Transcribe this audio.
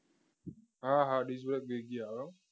હા હા disk break બીજી આવે હો